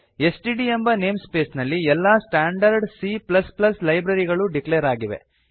STD ಎಂಬ namespace ನಲ್ಲಿ ಎಲ್ಲ ಸ್ಟಾಂಡರ್ಡ್ C ಲೈಬ್ರರಿಗಳು ಡಿಕ್ಲೇರ್ ಆಗಿವೆ